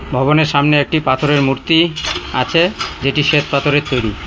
ভবনের সামনে একটি পাথরের মূর্তি আছে যেটি শ্বেতপাথরের তৈরি।